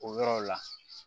O yɔrɔw la